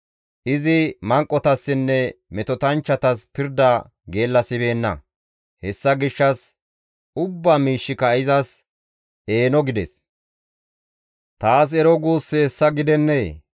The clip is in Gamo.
Izi manqotassinne metotanchchatas pirda geellasibeenna; hessa gishshas ubbaa miishshika izas eeno gides; taas ero guussi hessa gidennee?